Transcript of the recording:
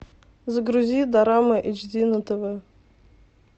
загрузи дорама эйч ди на тв